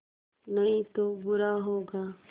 नहीं तो बुरा होगा